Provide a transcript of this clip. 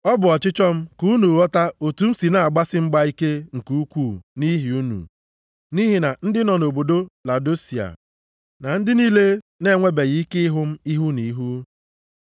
Ọ bụ ọchịchọ m ka unu ghọta otu m si na-agbasi mgba ike nke ukwuu nʼihi unu, na nʼihi ndị nọ nʼobodo Laodisia, na ndị niile na-enwebeghị ike ịhụ m ihu na ihu.